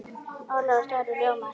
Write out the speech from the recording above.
Ólafur Darri ljómar.